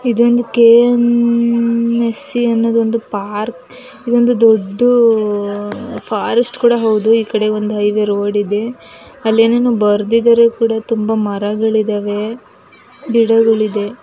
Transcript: ಇದೊಂದು ಕೆ.ಮ್.ಫ್.ಸಿ. ಅನ್ನೋ ಒಂದು ಪಾರ್ಕ್ ಇದು ಒಂದು ದೊಡ್ಡ ಫಾರೆಸ್ಟ್ ಕೂಡ ಹೌದು. ಈ ಕಡೆ ಒಂದು ಹೈವೇ ರೋಡ್ ಇದೆ. ಅಲ್ಲಿ ಏನೇನೋ ಬರೆದಿದ್ದಾರೆ ಈ ಕಡೆ ತುಂಬಾ ಮರಗಳು ಇದಾವೆ ಗಿಡಗಳು ಇದೆ.